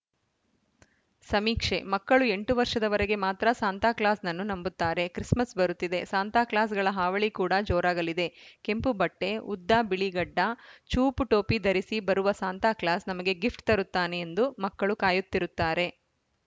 ಸಮೀಕ್ಷೆ ಮಕ್ಕಳು ಎಂಟು ವರ್ಷದವರೆಗೆ ಮಾತ್ರ ಸಾಂತಾಕ್ಲಾಸ್‌ನನ್ನು ನಂಬುತ್ತಾರೆ ಕ್ರಿಸ್‌ಮಸ್‌ ಬರುತ್ತಿದೆ ಸಾಂತಾಕ್ಲಾಸ್‌ಗಳ ಹಾವಳಿ ಕೂಡ ಜೋರಾಗಲಿದೆ ಕೆಂಪು ಬಟ್ಟೆ ಉದ್ದ ಬಿಳಿ ಗಡ್ಡ ಚೂಪು ಟೋಪಿ ಧರಿಸಿ ಬರುವ ಸಾಂತಾಕ್ಲಾಸ್‌ ನಮಗೆ ಗಿಫ್ಟ್‌ ತರುತ್ತಾನೆ ಎಂದು ಮಕ್ಕಳು ಕಾಯುತ್ತಿರುತ್ತಾರೆ